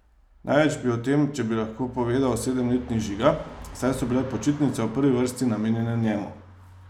Največ bi o tem, če bi lahko, povedal sedemletni Žiga, saj so bile počitnice v prvi vrsti namenjene njemu.